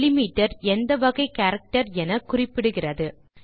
delimiter எந்த வகை character என குறிப்பிடுகிறது